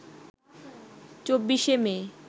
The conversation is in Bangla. ২৪শে মে